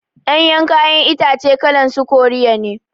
Ɗanyan kayan itace kalan su koriya ne